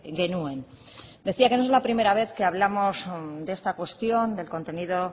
genuen decía que no es la primera vez que hablamos de esta cuestión del contenido